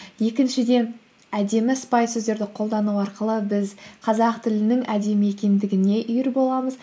екіншіден әдемі сыпайы сөздерді қолдану арқылы біз қазақ тілінің әдемі екендігіне үйір боламыз